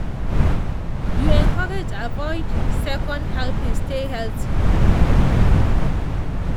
you encouraged avoid second helpings stay healthy.